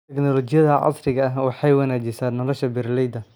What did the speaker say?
Tignoolajiyada casriga ahi waxay wanaajisaa nolosha beeralayda.